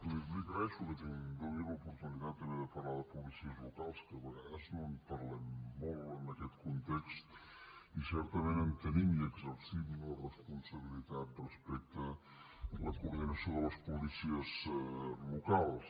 li agraeixo que em doni l’oportunitat també de parlar de policies locals que a vegades no en parlem molt en aquest context i certament en tenim i l’exercim la responsabilitat respecte a la coordinació de les policies locals